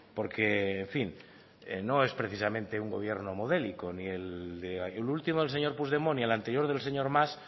porque en fin no es precisamente un gobierno modélico ni el ultimo el señor puigdemont y el anterior del señor mas